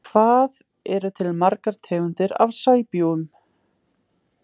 Hvað eru til margar tegundir af sæbjúgum?